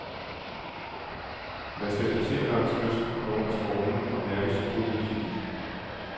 Man skal spadsere langs kysten og under strålen og mærke symbolværdien i den.